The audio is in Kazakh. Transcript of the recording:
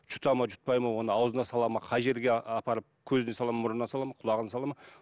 жұта ма жұтпай ма оған аузына сала ма қай жерге апарып көзіне сала ма мұрнына сала ма құлағына сала ма